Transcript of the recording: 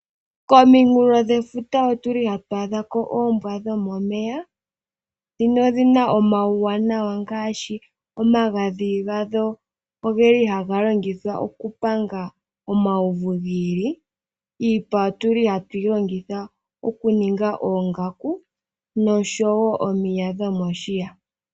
Kominkulo dhefuta ohatwadhako oombwa dhomomeya no dhina omauwanawa ogendji ngaashi okuza omagadhi ngono haga longithwa okupanga omauvu giili. Niipa yoombwa dhomomeya ohatwiilongitha okuninga oongaku nosho woo omiya dhomoshiya.